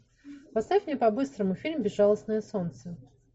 поставь мне по быстрому фильм безжалостное солнце